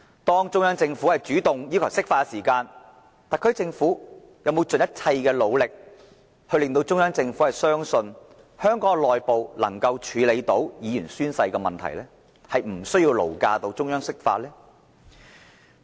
當中央政府主動要求釋法時，特區政府有否盡一切努力，令中央政府相信香港內部能夠處理議員宣誓的問題，無需勞駕中央釋法？